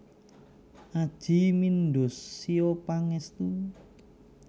Adjie Mindosio Pangestu